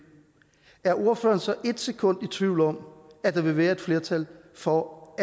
er ordføreren så et sekund i tvivl om at der ville være et flertal for